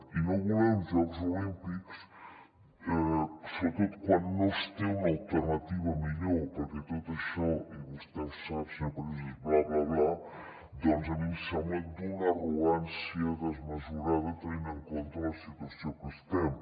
i no voler uns jocs olímpics sobretot quan no es té una alternativa millor perquè tot això i vostè ho sap senyor president és bla bla bla a mi em sembla d’una arrogància desmesurada tenint en compte la situació en què estem